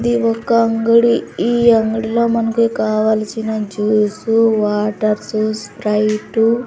ఇది ఒక అంగడి ఈ అంగడిలో మనకి కావలసిన జ్యూసు వాటర్సు స్ప్రైటు --